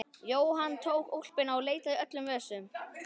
Jóhann tók úlpuna og leitaði í öllum vösum.